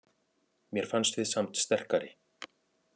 Mér fannst við samt sterkari